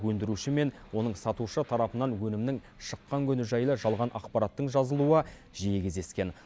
өндіруші мен оны сатушы тарапынан өнімнің шыққан күні жайлы жалған ақпараттың жазылуы жиі кездескен